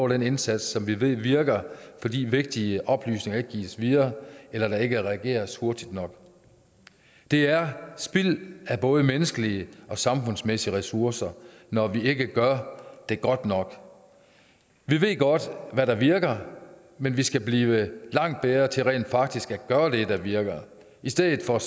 den indsats som vi ved virker fordi vigtige oplysninger ikke gives videre eller der ikke regeres hurtigt nok det er spild af både menneskelige og samfundsmæssige ressourcer når vi ikke gør det godt nok vi ved godt hvad der virker men vi skal blive langt bedre til rent faktisk at gøre det der virker i stedet for at